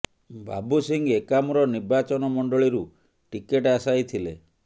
ବାବୁ ସିଂ ଏକାମ୍ର ନିର୍ବାଚନମଣ୍ଡଳୀ ରୁ ଟିକେଟ ଆଶାୟୀ ଥିଲେ